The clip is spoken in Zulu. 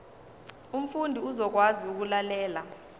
umfundi uzokwazi ukulalela